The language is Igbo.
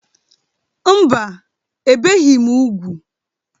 Mba, ebìghị m úgwù.